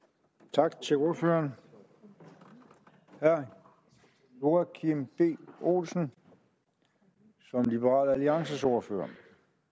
tak til ordføreren herre joachim b olsen som liberal alliances ordfører